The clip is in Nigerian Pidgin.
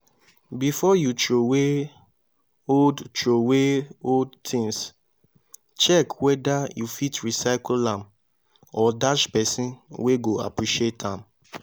before you throway old throway old things check whether you fit recycle am or dash persin wey go appreciate am